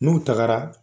N'u tagara